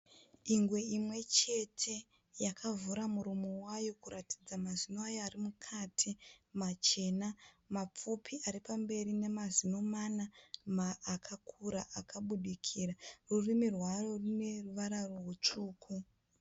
Ingwe imwe chete yakavhura muromo wayo kuratidza mazino ayo ari mukati machena mapfupi ari pamberi nemazino mana akakura akabudikira. Rurimi rwayo rune ruvara rutsvuku.